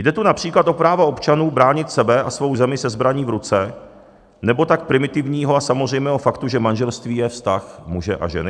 Jde tu například o práva občanů bránit sebe a svou zemi se zbraní v ruce, nebo tak primitivního a samozřejmého faktu, že manželství je vztah muže a ženy.